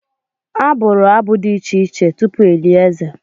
A bụrụ abụ dị iche iche tupu e lie eze.